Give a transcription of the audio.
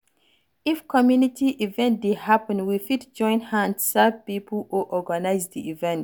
If community event dey happen, we fit join hand serve pipo or organise di event